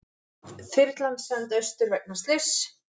Þyrlan send austur vegna slyss